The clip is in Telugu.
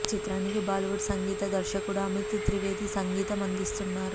ఈ చిత్రానికి బాలీవుడ్ సంగీత దర్శకుడు అమిత్ త్రివేది సంగీతం అందిస్తున్నారు